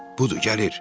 Budur, gəlir.